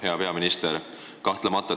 Hea peaminister!